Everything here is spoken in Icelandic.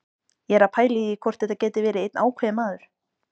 Ég er að pæla í því hvort þetta geti verið einn ákveðinn maður.